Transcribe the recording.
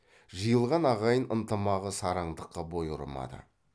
жиылған ағайын ынтымағы сараңдыққа бой ұрмады